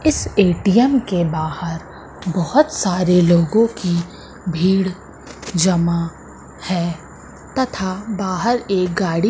इस ए_टी_एम के बाहर बहोत सारे लोगों की भीड़ जमा है तथा बाहर एक गाड़ी--